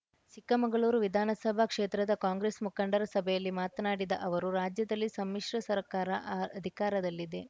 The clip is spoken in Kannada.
ಚಿಕ್ಕಮಗಳೂರು ವಿಧಾನಸಭಾ ಕ್ಷೇತ್ರದ ಕಾಂಗ್ರೆಸ್‌ ಮುಖಂಡರ ಸಭೆಯಲ್ಲಿ ಮಾತನಾಡಿದ ಅವರು ರಾಜ್ಯದಲ್ಲಿ ಸಮ್ಮಿಶ್ರ ಸರ್ಕಾರ ಅ ಅಧಿಕಾರದಲ್ಲಿದೆ